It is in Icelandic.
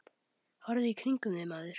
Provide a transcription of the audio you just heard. Horfðu í kringum þig, maður.